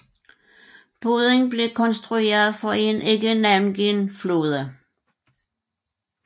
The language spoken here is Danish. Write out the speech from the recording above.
Båden blev konstrueret for en ikke navngiven flåde